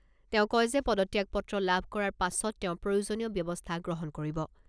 তেওঁ কয় যে পদত্যাগপত্ৰ লাভ কৰাৰ পাছত তেওঁ প্ৰয়োজনীয় ব্যৱস্থা গ্ৰহণ কৰিব।